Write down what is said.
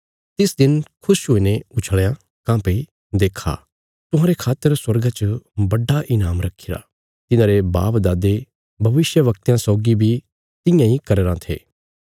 तिस दिन खुश हुईने उछल़यां काँह्भई देक्खा तुहांरे खातर स्वर्गा च बड्डा ईनाम रखीरा तिन्हारे बापदादे भविष्यवक्तयां सौगी बी तियां इ करया राँ थे